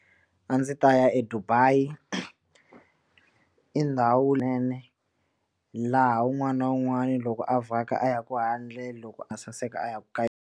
A ndzi ta ya eDubai i ndhawu nene laha wun'wani na wun'wani loko a vhaka a ya ku handle loko a saseka a ya ku ka.